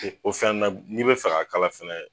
O o fɛnɛ na n'i bɛ fɛ k'a kala fɛnɛ.